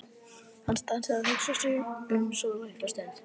Hann stansaði og hugsaði sig um svolitla stund.